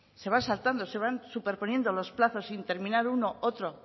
se van saltando se van superponiendo los plazos sin terminar uno otro